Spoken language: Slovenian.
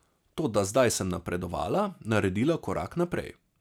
Toda zdaj sem napredovala, naredila korak naprej.